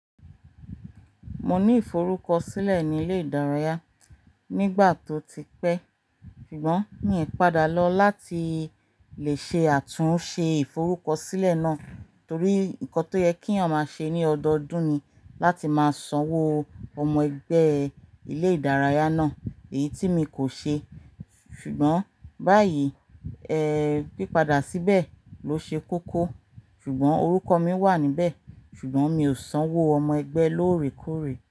Mo ní ìforúkọ sílẹ̀ nílé ìdárayá nígbà tó ti pẹ́, ṣùgbọ́n mí i padà lọ láti lè ṣe àtúnṣe ìforúkọ sílẹ̀ náà torí nǹkan tó yẹ kíyan máa ṣe ní ọdọọdún ni láti máa sanwó ọmọ ẹgbẹ́ ilé ìdárayá náà èyí tí mi kò ṣe. Ṣùgbọ́n báyìí, ẹ́, pípada síbẹ̀ ló ṣe kókó. Ṣùgbọ́n orúkọ mi wà níbẹ̀, ṣùgbọ́n mi ò sanwó ọmọ ẹgbẹ́ lóòrèkóòrè.